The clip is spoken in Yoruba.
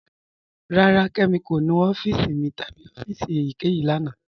Rárá, Kẹmi kò nú ọ̀fíìsì mi tabi ọ̀fíìsì èyíkẹyìí lána.